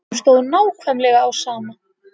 Honum stóð nákvæmlega á sama.